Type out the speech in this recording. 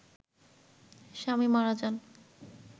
স্বামী মারা যান